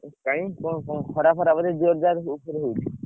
କାଇଁ କଣ ଖରା ଫରା ବୋଧେ ଜୋର ଜାର ଉପରେ ହଉଛି?